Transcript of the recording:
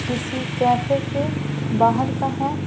किसी कैफे के बाहर का है।